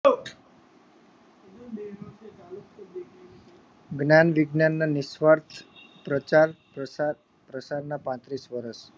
hello જ્ઞાન વિજ્ઞાન ના નિશ્વાર્થ પ્રચાર પ્રસાદ પ્રસાદ ના પાંત્રીસ વર્ષ